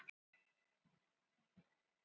Þetta var opinn leikur og opnir leikir eru erfiðir.